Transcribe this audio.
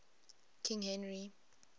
king henry